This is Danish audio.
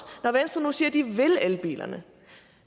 når venstre nu siger at de vil elbilerne